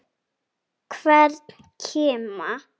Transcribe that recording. Hvern kima.